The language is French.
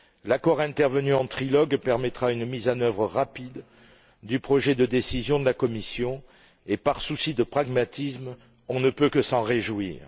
L'accord intervenu en trilogue permettra une mise en œuvre rapide du projet de décision de la Commission et, par souci de pragmatisme, nous ne pouvons que nous en réjouir.